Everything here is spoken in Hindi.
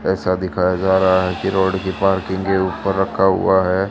ऐसा दिखाया जा रहा है कि रोड के पार्किंग के ऊपर रखा हुआ है।